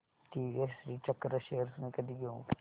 TVS Shrichakra shares मी कधी घेऊ